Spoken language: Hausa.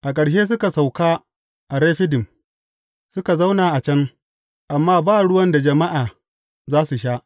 A ƙarshe suka sauka a Refidim, suka zauna a can, amma ba ruwan da jama’a za su sha.